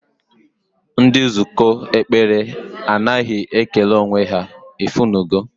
Ndị nzukọ ekpere anaghị ekele onwe ha, ifunugo